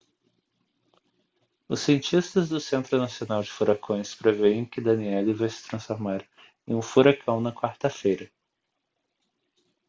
os cientistas do centro nacional de furacões preveem que danielle vai se transformar em um furacão na quarta-feira